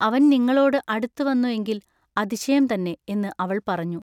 അവൻ നിങ്ങളോടു അടുത്തുവന്നു എങ്കിൽ അതിശയം തന്നെ എന്നു അവൾ പറഞ്ഞു.